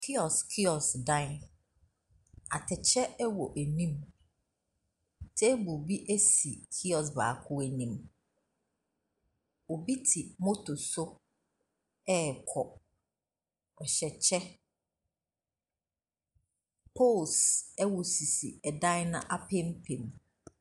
Kiosk kiosk dan, atɛkyɛ wɔ anim. Table bi si kiosk baako anim. Obi te motor so rekɔ. Ɔhyɛ kyɛ. Poles wɔ sisis dan no apampam.